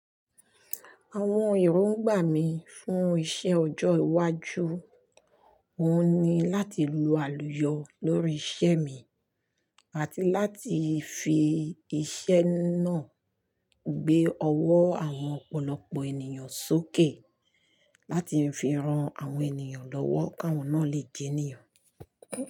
Àwọn èròǹgbà mi fún iṣẹ́ ọjọ́ iwájú, òun ni láti lu àlùyọ lórí iṣẹ́ mi àti láti fi iṣẹ́ náà gbé ọwọ́ àwọn ọ̀pọ̀lọpọ̀ ènìyàn sókè láti fi ran àwọn ènìyàn lọ́wọ́ k'awọ́n náà lè jẹ ènìyàn.